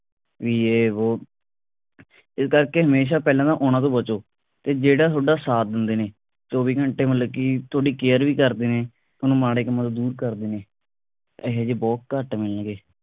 ਬਈ ਯੇਹ ਵੋਹ ਇਸ ਕਰਕੇ ਹਮੇਸ਼ਾ ਪਹਿਲਾਂ ਨਾ ਉਨ੍ਹਾਂ ਤੋਂ ਬਚੋ ਤੇ ਜਿਹੜਾ ਤੁਹਾਡਾ ਸਾਥ ਦਿੰਦੇ ਨੇ ਚੌਂਵੀ ਘੰਟੇ ਮਤਲਬ ਕਿ ਤੁਹਾਡੀ care ਵੀ ਕਰਦੇ ਨੇ ਤੁਹਾਨੂੰ ਮਾੜੇ ਕੰਮਾਂ ਤੋਂ ਦੂਰ ਕਰਦੇ ਨੇ ਇਹੋ ਜੇ ਬਹੁਤ ਘੱਟ ਮਿਲਣਗੇ